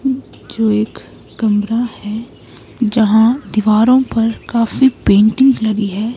जो एक कमरा है जहां दीवारों पर काफी पेंटिंग्स लगी है।